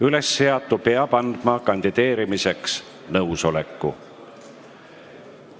Ülesseatu peab andma kandideerimiseks nõusoleku.